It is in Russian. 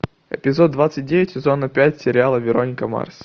эпизод двадцать девять сезона пять сериала вероника марс